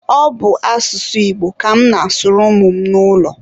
ọ bụ asụsụ Igbo ka mụ na-asụrụ ụmụ m n'ụlọ